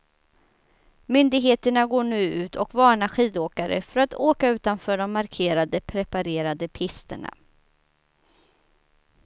Myndigheterna går nu ut och varnar skidåkare för att åka utanför de markerade, preparerade pisterna.